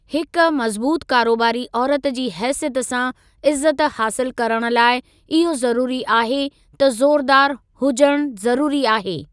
हिक मज़बूतु कारोबारी औरत जी हैसियत सां इज़्ज़त हासिलु करणु लाइ, इहो ज़रूरी आहे त ज़ोरदार हुजण ज़रूरी आहे।